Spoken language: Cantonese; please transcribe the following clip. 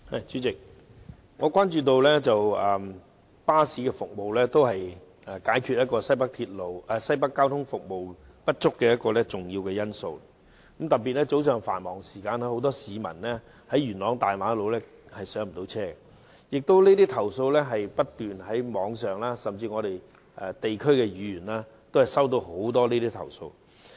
主席，我關注到巴士服務也是解決新界西北交通服務不足的一個重要方法，特別是早上繁忙時間，很多市民在元朗大馬路不能上車，而這些投訴在網上常見，甚至區議員都不斷收到有關的投訴。